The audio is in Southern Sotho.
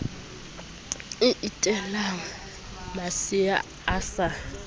e etelang masea a sa